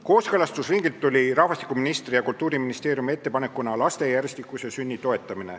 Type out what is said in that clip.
Kooskõlastusringilt tuli rahvastikuministri ja Kultuuriministeeriumi ettepanek toetada laste järjestikuseid sünde.